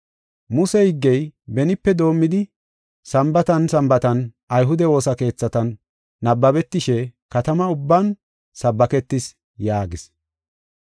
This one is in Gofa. Muse higgey benipe doomidi Sambaatan Sambaatan ayhude woosa keethatan nabbabetishe katama ubban sabbaketees” yaagis.